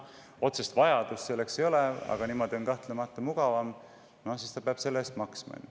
Otsest vajadust selleks ei ole, aga niimoodi on kahtlemata mugavam ja siis ta peab selle eest maksma.